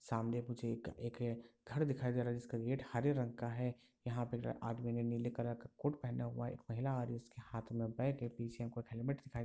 सामने मुझे एक एक घर दिखाई दे रहा है जिसका गेट हरे रंग का है यहां पे आदमी ने नीले कलर का कोट पेहना हुआ है एक महिला है उसके हाथ मे बेग है पीछे हेल्मेट दिखाई--